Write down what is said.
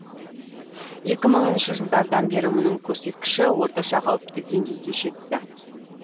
екі мыңыншы жылдардан бері мұның көрсеткіші орташа қауіпті деңгейге жетті